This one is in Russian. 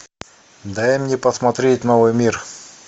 дай мне посмотреть новый мир